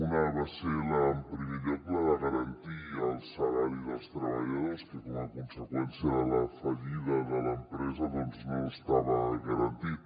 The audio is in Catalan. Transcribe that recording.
una va ser en primer lloc la de garantir el salari dels treballadors que com a conseqüència de la fallida de l’empresa no estava garantit